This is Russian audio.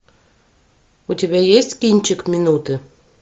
у тебя есть кинчик минуты